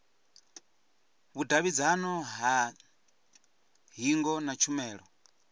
vhudavhidzano ha hingo na tshumelo